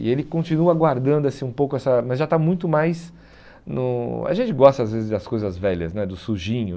E ele continua guardando assim um pouco essa... Mas já está muito mais no... A gente gosta às vezes das coisas velhas né, do sujinho.